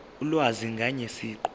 ulwazi ngaye siqu